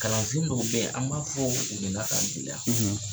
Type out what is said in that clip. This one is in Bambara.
Kalansen dɔw de bɛ Yen, an b'a fɔ k'a gɛlɛya.